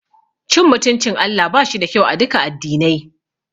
Cin mutuncin Allah bashi da kyau aduka addinai.